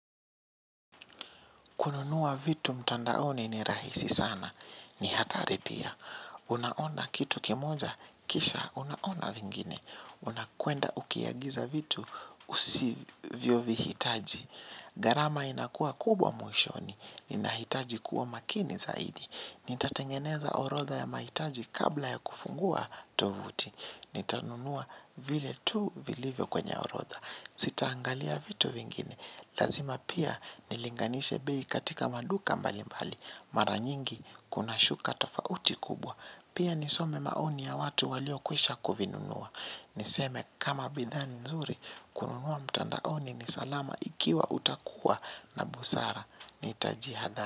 Kununua vitu mtandaoni rahisi sana. Kununua vitu mtandaoni ni rahisi sana. Unakwenda ukiagiza vitu husivyo vihitaj gharama inakuwa kubwa mwishoni. Unahitaji kuwa makini zaidi nitatengeneza orodha ya mahitaji kabla ya kufungua tofuti. Nitanunua vile tu vilivyo kwenye orodha. Sita angalia vitu vingine. Lazima pia nilinganisha bei katika maduka mbali mbali. Mara nyingi kuna shuka tofauti kubwa. Pia nisome maoni ya watu walio kwisha kuvinunua. Niseme kama bidhaa ni nzuri kununua mtandaoni ni salama ikiwa utakuwa na busara Nitajiathari.